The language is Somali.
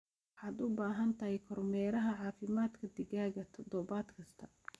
Waxaad u baahan tahay kormeeraha caafimaadka digaagga toddobaad kasta.